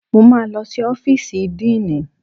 Mo máa lọ sí ọ́fíìsì díìnì